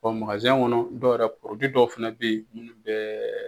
kɔnɔ dɔw yɛrɛ dɔw fɛnɛ bɛ ye minnu bɛɛ